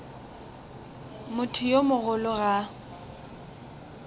motho yo mogolo ga a